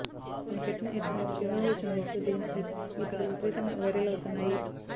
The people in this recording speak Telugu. తన పెట్ ను ఎత్తుకుని చిరునవ్వులు చిందిస్తూ దిగిన ఈ పిక్స్ ఇప్పుడు విపరీతంగా వైరల్ అవుతున్నాయి